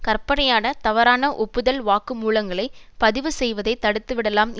கற்பனையான தவறான ஒப்புதல் வாக்கு மூலங்களை பதிவு செய்வதை தடுத்துவிடலாம்